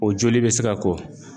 O joli be se ka ko.